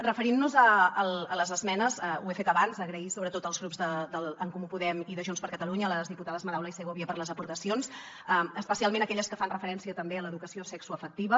referint nos a les esmenes ho he fet abans donar les gràcies sobretot als grups d’en comú podem i de junts per catalunya a les diputades madaula i segovia per les aportacions especialment aquelles que fan referència també a l’educació sexoafectiva